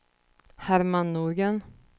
Herman Norgren